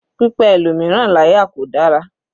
Pípa ẹlòmíràn láyà kò dára.